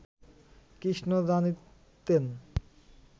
কৃষ্ণ জানিতেন